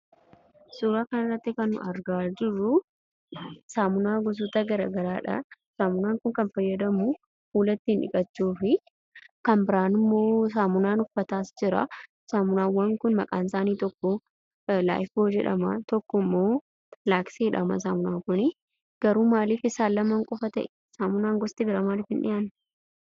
Suuraa kanarratti kan nuyi argaa jirru, saamuunaa goosota garagaraadha. Saamuuna kana kan fayyadamnu fuula ittin dhiqachuufi kan biraanimmo, saamuunaan uffatas jira. Saamunaawwaan kun maqaan isaani inni tokko life boy jedhama, inni tokkommo 'lux' jedhama saamunana kun garuu maaf isaan lamman ta'e? Gosti bira maaf hin dhi'anne